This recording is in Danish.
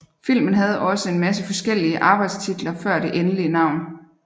Filmen havde også en masse forskeliige arbejdestitler før det endelige navn